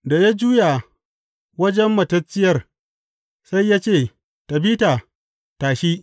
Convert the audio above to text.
Da ya juya wajen matacciyar, sai ya ce, Tabita, tashi.